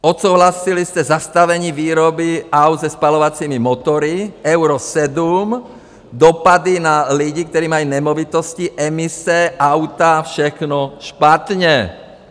Odsouhlasili jste zastavení výroby aut se spalovacími motory Euro 7, dopady na lidi, kteří mají nemovitosti, emise, auta, všechno špatně.